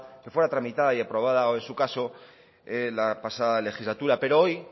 que fuera tramitada y aprobada o en su caso la pasada legislatura pero hoy